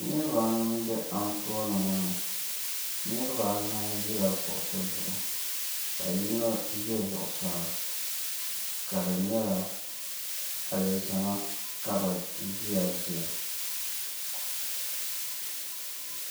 niriba anu m-be anfooni ŋɔ ni niriba anahi ʒila kuɣisi zuɣu ka yino ʒe zuɣisaa ka di nyɛla alizama ka bɛ ʒiya dira